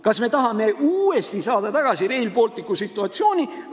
Kas me tahame uuesti saada tagasi Rail Balticu situatsiooni?